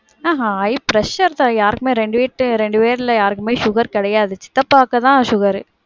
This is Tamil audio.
இல்லக்கா high pressure தான், யாருக்குமே ரெண்டு பேர்ட்ட, ரெண்டு பேருல யாருக்குமே sugar கெடையாது. சித்தப்பாக்கு தான் sugar ரு.